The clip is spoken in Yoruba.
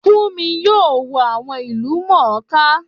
Fúnmi yóò wo àwọn ìlúmọọká